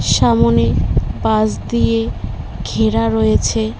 সামোনে বাঁশ দিয়ে ঘেরা রয়েছে।